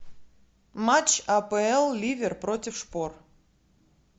матч апл ливер против шпор